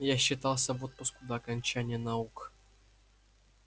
я считался в отпуску до окончания наук